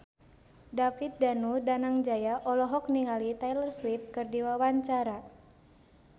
David Danu Danangjaya olohok ningali Taylor Swift keur diwawancara